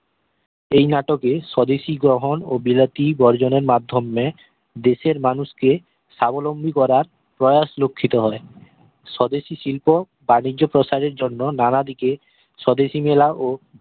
ঐই নাটকে স্বদেশি গ্রহন ও বিলাতী বর্জনের মাধ্যমে দেশের মানুষ কে সাবলম্বী করার প্রয়াস লক্ষিত হয় স্বদেশি শিল্প বাণিজ্য প্রসারের জন্য নানা দিকে স্বদেশি মেলা ও